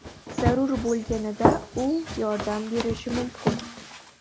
Zarur bo‘lganida u yordam berishi mumkin.